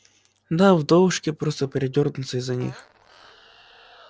да вдовушки просто передерутся из-за них